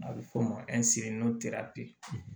A bɛ fɔ o ma